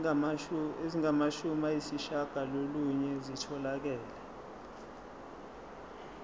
ezingamashumi ayishiyagalolunye zitholakele